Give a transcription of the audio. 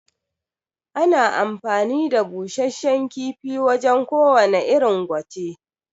Ana amfani da Bushashshan kifi wajan ko wane irin gwate